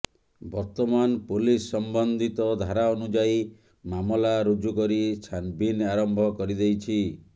ବର୍ତ୍ତମାନ ପୋଲିସ୍ ସମ୍ବନ୍ଧିତ ଧାରା ଅନୁଯାୟୀ ମାମଲା ରୁଜୁ କରି ଛାନବିନ୍ ଆରମ୍ଭ କରି ଦେଇଛି